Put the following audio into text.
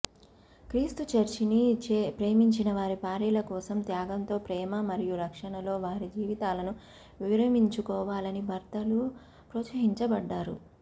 క్రీస్తు చర్చిని ప్రేమించిన వారి భార్యల కోసం త్యాగంతో ప్రేమ మరియు రక్షణలో వారి జీవితాలను విరమించుకోవాలని భర్తలు ప్రోత్సహించబడ్డారు